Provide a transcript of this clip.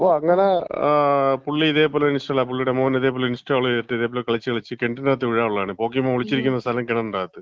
അപ്പം അങ്ങനെ പുള്ളി ഇതേ പോലെ ഇൻസ്റ്റാൾ, പുള്ളീടെ മോന് ഇതേപോലെ ഇൻസ്റ്റാൾ ചെയ്തിട്ട് കളിച്ച് കളിച്ച് കെണറ്റീന്‍റാത്ത് വീഴാനുള്ളതാണ്, പോക്കീമാൻ ഒളിച്ചിരിക്കുന്ന സ്ഥലം കിണറിന്‍റാത്ത്.